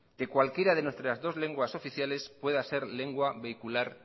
que cualquiera de nuestras dos lenguas oficiales pueda ser lengua vehicular